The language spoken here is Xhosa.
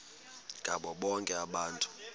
ngabo bonke abantu